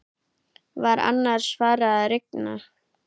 Var annars farið að rigna?